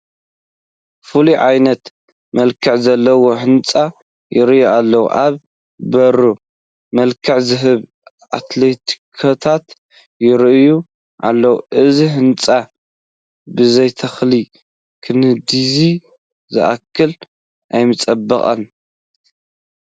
ፍሉይ ዓይነት መልክዕ ዘለዎ ህንፃ ይርአ ኣሎ፡፡ ኣብ በሩ መልክዕ ዝህቡ ኣትክልትታት ይርአዩ ኣለዉ፡፡ እዚ ህንፃ ብዘይተኽሊ ክንድዚ ዝኣክል ኣይምፀበቐን፡፡